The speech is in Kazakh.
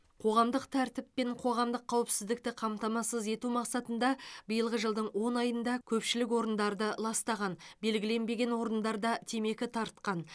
қоғамдық тәртіп пен қоғамдық қауіпсіздікті қамтамасыз ету мақсатында биылғы жылдың он айында көпшілік орындарды ластаған белгіленбеген орындарда темекі тартқан